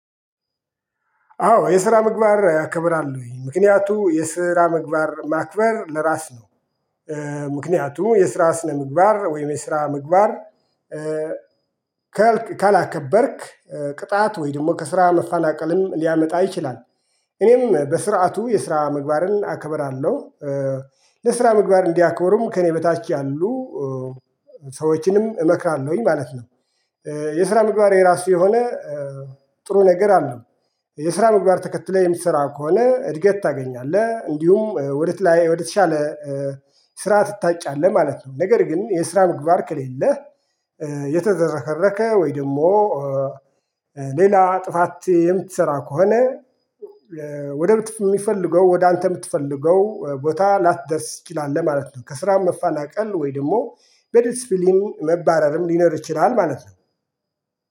አዎ የስራ ምግባር አከብራለሁኝ ምክንያቱም የስራ ምግባር ማክበር ለራስ ነው። ምክንያቱም የስራ ስነምግባር ወይም የስራ ምግባር ካላከበርክ ቅጣት ወይም ደግሞ ከስራ መፈናቀልም ሊያመጣ ይችላል። እኔም በስርዓቱ የስራ ምግባርን አከብራለሁ። ለስራ ምግባር እንዲያከብሩም ከእኔ በታች ያሉ ሰዎችንም እመክራለሁኝ ማለት ነው። የስራ ምግባር የራሱ የሆነ ጥሩ ነገር አለው። የስራ ምግባር ተከትለህ የምትሰራ ከሆነ እድገት ታገኛለህ እንዲሁም ወደተሻለ ስራ ትታጫለህ ማለት ነው። ነገር ግን የስራ ምግባር ከሌለህ። የተዝረከረከ ወይ ደግሞ ሌላ ጥፋት የምትሰራ ከሆነ። ወደ ምትፈልገው ወደ አንተ የምትፈልገው ቦታ ላትደርስ ትችላለህ ማለት ነው። ከስራ መፈናቀል ወይ ደግሞ በዲሲፕሊን መባረርም ሊኖር ይችላል ማለት ነው